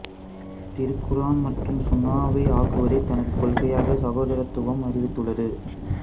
திருக்குர்ஆன் மற்றும் சுன்னாவை ஆக்குவதே தனது கொள்கையாக சகோதரத்துவம் அறிவித்துள்ளது